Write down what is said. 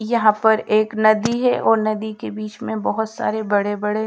यहां पर एक नदी है और नदी के बीच में बहोत सारे बड़े बड़े--